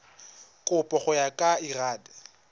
kabo go ya ka lrad